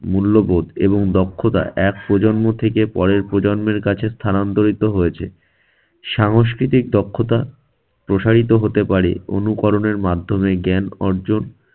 মূল্যবোধ এবং দক্ষতা এক প্রজন্ম থেকে পরের প্রজন্মের কাছে স্থানান্তরিত হয়েছে। সাংস্কৃতিক দক্ষতা প্রসারিত হতে পারে অনুকরণের মাধ্যমে, জ্ঞান অর্জন